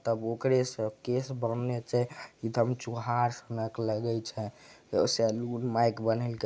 तब ओकरे से केश बानन्हे छै एकदम चोहार सनक लगे छै सलून --